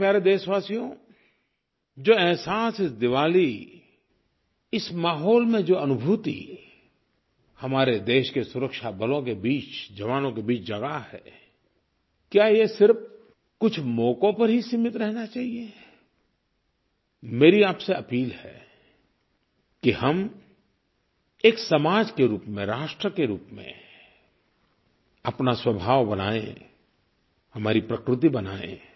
मेरे प्यारे देशवासियो जो अहसास इस दिवाली इस माहौल में जो अनुभूति हमारे देश के सुरक्षा बलों के बीच जवानों के बीच जगा है क्या ये सिर्फ़ कुछ मौकों पर ही सीमित रहना चाहिये मेरी आपसे अपील है कि हम एक समाज के रूप में राष्ट्र के रूप में अपना स्वभाव बनाएँ हमारी प्रकृति बनाएँ